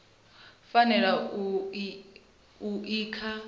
fanela u vha i kha